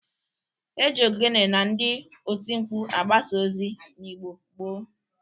E ji ogene na ndị otimkpu agabasa ozi n'Igbo gboo.